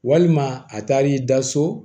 Walima a taar'i da so